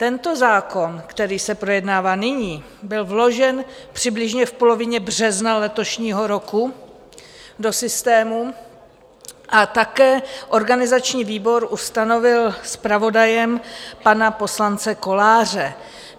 Tento zákon, který se projednává nyní, byl vložen přibližně v polovině března letošního roku do systému a také organizační výbor ustanovil zpravodajem pana poslance Koláře.